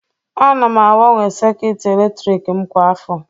Ana m agbanwe sekit eletrik m kwa afọ